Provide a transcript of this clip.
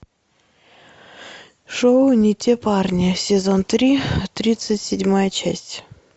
шоу не те парни сезон три тридцать седьмая часть